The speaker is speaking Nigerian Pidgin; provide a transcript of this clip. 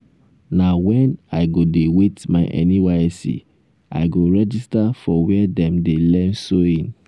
na wen i go dey wait my nysc i go register for were dem dey learn sewing.